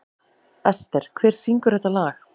Ester, hver syngur þetta lag?